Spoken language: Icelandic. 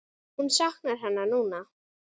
Hún saknar hennar núna.